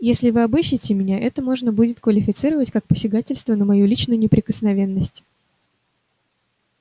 если вы обыщите меня это можно будет квалифицировать как посягательство на мою личную неприкосновенность